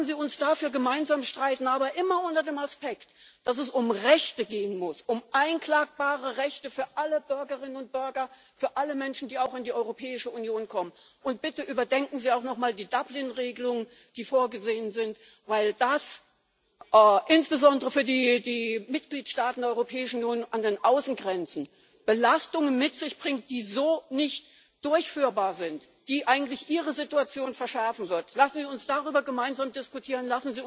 Lassen Sie uns dafür gemeinsam streiten, aber immer unter dem Aspekt, dass es um Rechte gehen muss, um einklagbare Rechte für alle Bürgerinnen und Bürger, für alle Menschen, die auch in die Europäische Union kommen. Und bitte überdenken Sie auch nochmal die Dublin Regelungen, die vorgesehen sind, weil das insbesondere für die Mitgliedstaaten der Europäischen Union an den Außengrenzen Belastungen mit sich bringt, die so nicht zu bewältigen sind, die ihre Situation verschärfen wird. Lassen Sie uns darüber gemeinsam diskutieren.